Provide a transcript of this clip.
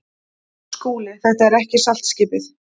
SKÚLI: Þetta er ekki saltskipið.